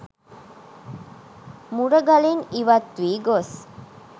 මුරගලින් ඉවත් වී ගොස්